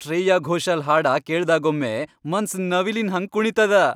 ಶ್ರೇಯಾ ಘೋಷಾಲ್ ಹಾಡಾ ಕೇಳ್ದಾಗೊಮ್ಮೆ ಮನ್ಸ್ ನವಿಲಿನ್ ಹಂಗ್ ಕುಣೀತದ.